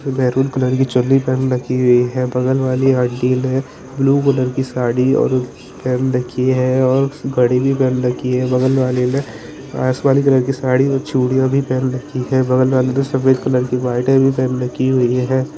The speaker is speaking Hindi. र मैरून कलर की चुन्नी पहन रखी हुई है बगल वाली आंटी ने ब्लू कलर की साड़ी और पहन रखी है और घड़ी भी पहन रखी है बगल वाली ने आसमानी कलर की साड़ी और चूड़ियां भी पहन रखी हैं बगल वाली ने सफ़ेद कलर की व्हाइट पहन रखी हुई हैं।